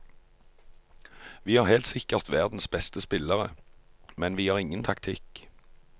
Vi har helt sikkert verdens beste spillere, men vi har ingen taktikk.